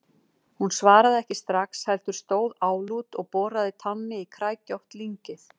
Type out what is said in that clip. Hún svaraði ekki strax, heldur stóð álút og boraði tánni í kræklótt lyngið.